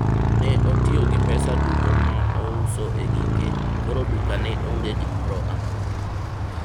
ne otiyo gi pesa duto mouso e gike, koro dukane onge gimoro amora